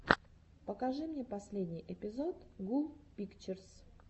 покажи мне последний эпизод гул пикчерс